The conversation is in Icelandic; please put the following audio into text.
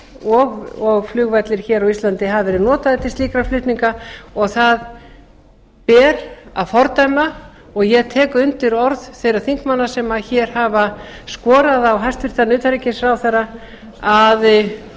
flughelgi og flugvellir hér á íslandi hafi verið notaðir til slíkra flutninga og það ber að fordæma ég tek undir orð þeirra þingmanna sem hér hafa skorað á hæstvirtan utanríkisráðherra að